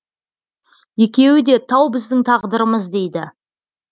екеуі де тау біздің тағдырымыз дейді